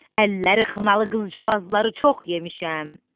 Əlləri xınalı qızcığazları çox yemişəm.